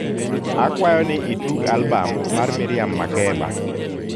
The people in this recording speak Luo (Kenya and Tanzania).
akwayo ni itug albam mar miriam makeba